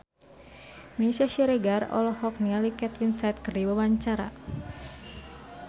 Meisya Siregar olohok ningali Kate Winslet keur diwawancara